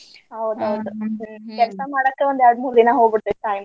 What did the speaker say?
ಹೌದ್ ಹೌದ್ ಕೆಲ್ಸ ಮಾಡಾಕ ಒಂದ್ ಎರ್ಡ್ ಮೂರ್ ದಿನಾ ಹೋಗ್ಬೀಡತೇತಿ time .